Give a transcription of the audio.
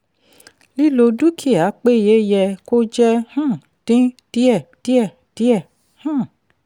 lílo dúkìá péye yẹ kó jẹ́ um dín díẹ̀ díẹ̀. díẹ̀. um